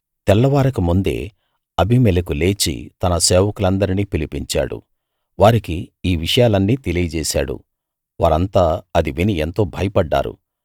తెల్లవారకముందే Abimelech లేచి తన సేవకులందరినీ పిలిపించాడు వారికి ఈ విషయాలన్నీ తెలియజేశాడు వారంతా అది విని ఎంతో భయపడ్డారు